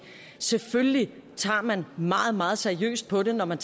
selvfølgelig tager man meget meget seriøst på det når man